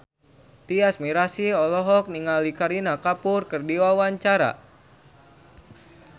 Tyas Mirasih olohok ningali Kareena Kapoor keur diwawancara